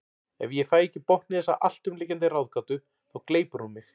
Ef ég fæ ekki botn í þessa alltumlykjandi ráðgátu þá gleypir hún mig.